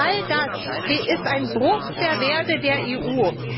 All das ist ein Bruch der Werte der EU.